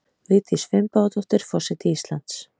Vigdís Finnbogadóttir forseti Íslands